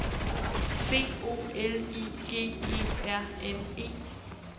B O L I G E R N E